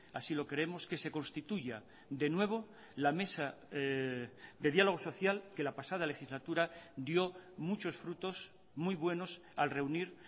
así lo creemos que se constituya de nuevo la mesa de diálogo social que la pasada legislatura dio muchos frutos muy buenos al reunir